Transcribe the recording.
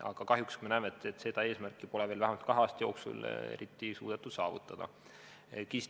Aga kahjuks me näeme, et seda eesmärki pole kahe aasta jooksul eriti suudetud saavutada.